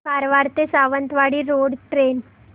कारवार ते Sawantwadi road train